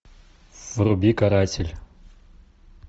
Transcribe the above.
вруби каратель